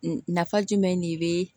Nafa jumɛn de be